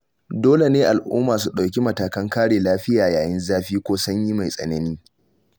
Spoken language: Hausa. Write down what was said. Dole ne al’umma su dauki matakan kare lafiya yayin zafi ko sanyi mai tsanani.